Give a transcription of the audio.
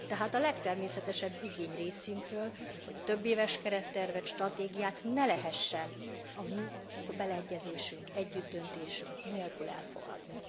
Tehát a legtermészetesebb igény részünkről, hogy többéves kerettervet, stratégiát ne lehessen a mi beleegyezésünk, együttdöntésünk nélkül elfogadni.